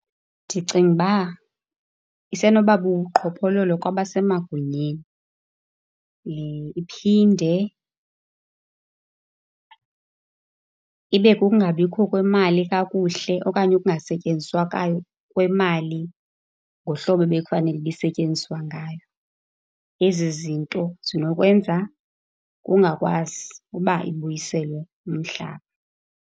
Ndicinga ukuba isenoba bubuqhophololo kwabasemagunyeni, iphinde ibe kukungabikho kwemali kakuhle okanye ukungasetyenziswa kwemali ngohlobo ebekufanele uba isetyenziswa ngayo. Ezi zinto zinokwenza kungakwazi uba ibuyiselwe umhlaba.